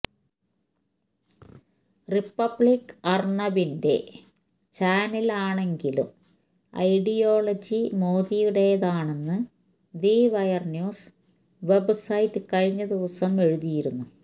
republic അര്ണബിന്റെ ചാനലാണെങ്കിലും ideology മോദിയുടേതാണെന്ന് ദി വയര് ന്യൂസ് വെബ്സൈറ്റ് കഴിഞ്ഞ ദിവസം എഴുതിയിരുന്നു